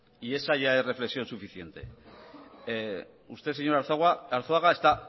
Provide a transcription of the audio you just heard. y esa ya es reflexión suficiente usted señor arzuaga está